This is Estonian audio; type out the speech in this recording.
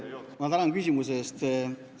Ma tänan küsimuse eest!